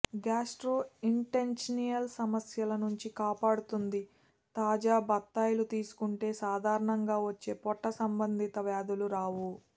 gastrointestinal సమస్యల నుంచి కాపాడుతుందితాజా బత్తాయిలు తీసుకుంటే సాధారణంగా వచ్చే పొట్ట సంబంధింత వ్యాధులు రావు